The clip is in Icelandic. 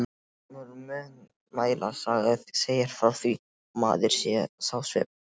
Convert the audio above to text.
Gömul munnmælasaga segir frá því, að maður sá svip.